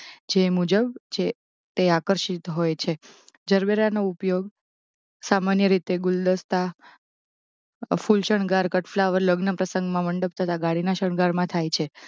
જે મુજબ જે તે આકર્ષિત હોય છે. જરબેરા નો ઉપયોગ સામાન્ય રીતે ગુલદસ્તા ફૂલ શણગાર કટ ફ્લાવર લગ્ન પ્રસંગમાં મંડપ તથા ગાડીના શણગાર માં થાય છે